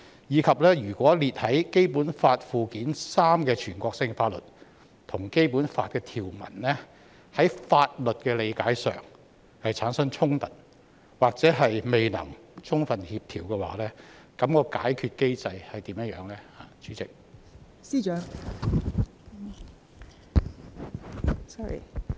如果列在《基本法》附件三的全國性法律跟《基本法》的條文，在法律理解上產生衝突，或未能充分協調，那麼解決機制為何？